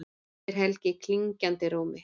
spyr Helgi klingjandi rómi.